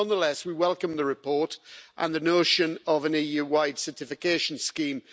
Nonetheless, we welcome the report and the notion of an EU wide certification scheme.